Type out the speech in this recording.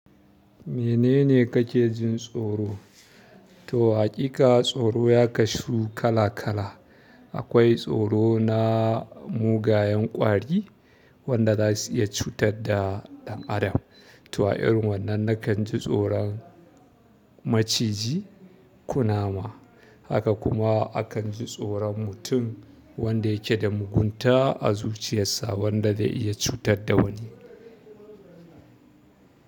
Menene kake jin tsoro? To haƙiƙa tsoro ya kasu kala kala. Akwai tsoro na mugayen ƙwari wanda zasu iya cutar da ɗan adam. Toh a irin wannan nakan ji tsoron maciji, kunama. Haka kuma akan ji tsoron mutum wanda yake da mugunta a zuciyarsa wanda zai iya cutar da wani.